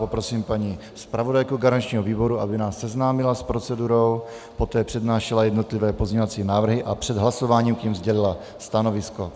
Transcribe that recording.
Poprosím paní zpravodajku garančního výboru, aby nás seznámila s procedurou, poté přednášela jednotlivé pozměňovací návrhy a před hlasováním k nim sdělila stanovisko.